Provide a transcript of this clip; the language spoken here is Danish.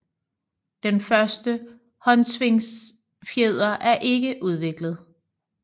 Den første håndsvingfjer er ikke udviklet